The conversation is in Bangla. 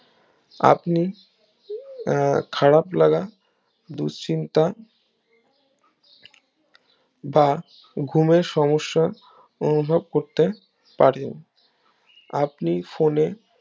আপনি আহ খারাব লাগা দুশ্চিন্তা বা ঘুমের সমস্যা অনুভব করতে পারেন আপনি ফোনে